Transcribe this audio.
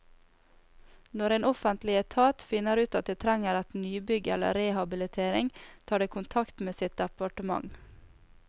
Når en offentlig etat finner ut at det trenger nybygg eller rehabilitering, tar det kontakt med sitt departement.